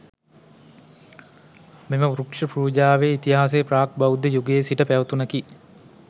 මෙම වෘක්ෂ පූජාවේ ඉතිහාසය ප්‍රාග් බෞද්ධ යුගයේ සිට පැවතුණකි.